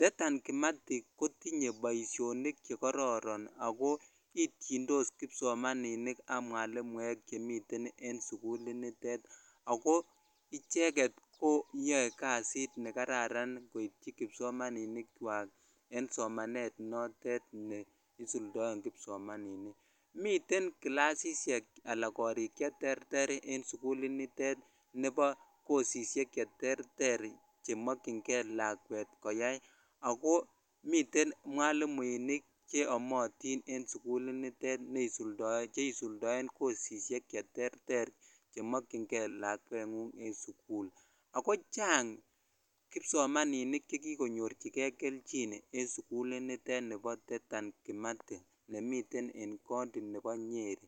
Dedan Kimathi kotinye boishonik chekororon ak ko ityindos kipsomaninikab mwalimuek chemiten en sukulit nitet ak ko icheket koyoe kasit nekararan koityi kipsomaninikwak en somanet notet ne isuldoen kipsomaninik, miten kilasishek alaa korik cheterter en sukuli nitet nebo kosisiek cheterter chemokying'e lakwet koyai ak ko miten mwalimuinik cheyomotin en sukulinitet neisuldoen cheisuldoen kosisiek cheterter nemokying'e lakweng'ung en sukul ak ko chang kipsomaninik chekikonyorchike kelchin en sukul initet nibo Dedan kimathi nemiten en county nebo Nyeri.